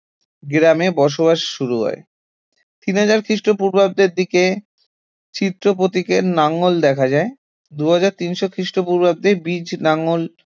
গ্রামে বসবাস শুরু হয় তিন হাজার খ্রিস্টপূর্বাব্দের দিকে চিত্রপ্রতীকে লাঙ্গল দেখা যায় দুই হাজার তিনশ খ্রিস্টপূর্বাব্দে বীজ লাঙল